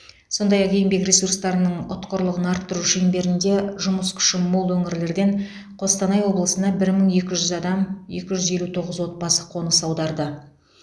сондай ақ еңбек ресурстарының ұтқырлығын арттыру шеңберінде жұмыс күші мол өңірлерден қостанай облысына бір мың екі жүз адам екі жүз елу тоғыз отбасы қоныс аударды